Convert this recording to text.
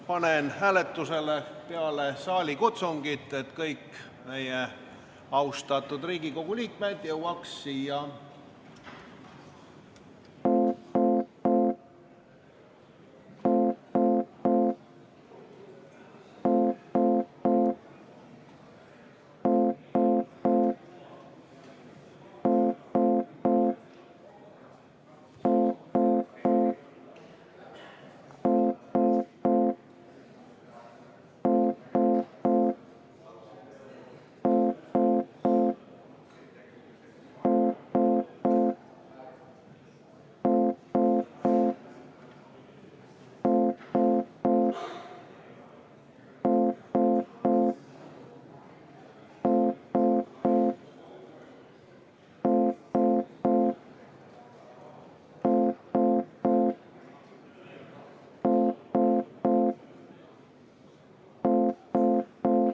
Panen selle hääletusele pärast saalikutsungit, et kõik meie austatud Riigikogu liikmed jõuaks siia kohale.